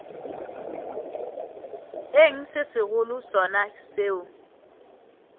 eng se segolo sona seo